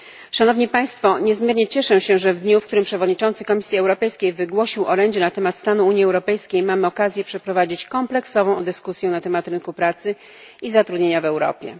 Szanowni Państwo! Niezmiernie cieszę się, że w dniu, w którym przewodniczący Komisji Europejskiej wygłosił orędzie na temat stanu Unii Europejskiej, mamy okazję przeprowadzić kompleksową dyskusję na temat rynku pracy i zatrudnienia w Europie.